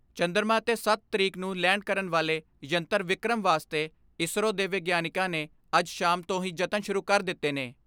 ਚੰਦਰਮਾ ਤੇ ਸੱਤ ਤਰੀਕ ਨੂੰ ਲੈਂਡ ਕਰਨ ਵਾਲੇ ਯੰਤਰ ਵਿਕ੍ਰਮ ਵਾਸਤੇ ਇਸਰੋ ਦੇ ਵਿਗਿਆਨੀਆਂ ਨੇ ਅੱਜ ਸ਼ਾਮ ਤੋਂ ਹੀ ਜਤਨ ਸ਼ੁਰੂ ਕਰ ਦਿੱਤੇ ਨੇ।